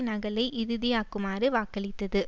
நகலை இறுதியாக்குமாறு வாக்களித்தது